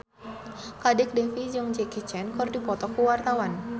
Kadek Devi jeung Jackie Chan keur dipoto ku wartawan